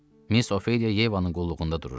Miss Ofeliya Yevanın qulluğunda dururdu.